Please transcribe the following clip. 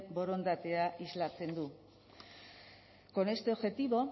borondatea islatzen du con este objetivo